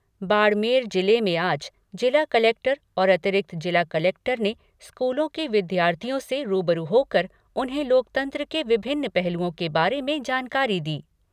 बाड़मेर जिले में आज जिला कलेक्टर और अतिरिक्त जिला कलेक्टर ने स्कूलों के विद्यार्थियों से रूबरू होकर उन्हें लोकतंत्र के विभिन्न पहलुओं के बारे में जानकारी दी।